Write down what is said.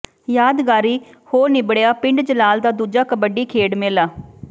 ਯਾਦਗਾਰੀ ਹੋ ਨਿਬੜਿਆ ਪਿੰਡ ਜਲਾਲ ਦਾ ਦੂਜਾ ਕਬੱਡੀ ਖੇਡ ਮੇਲਾ